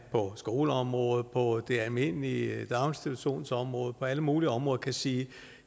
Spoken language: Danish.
på skoleområdet på det almindelige daginstitutionsområde på alle mulige områder sige